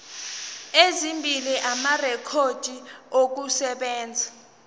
ezimbili amarekhodi okusebenza